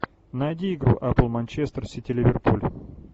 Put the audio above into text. найди игру апл манчестер сити ливерпуль